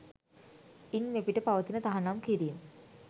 ඉන් මෙපිට පවතින තහනම් කිරීම්